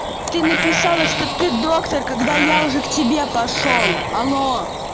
ты написала что ты доктор когда я уже к тебе пошёл алло